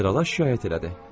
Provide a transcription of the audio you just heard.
Generala şikayət elədi.